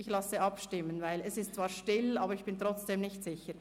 – Ich lasse abstimmen, denn es ist zwar still, aber ich bin trotzdem nicht sicher.